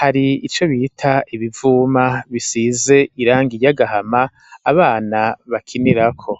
hari ico bita ibivuma bisize irangi iry'agahama, abana bakinirako.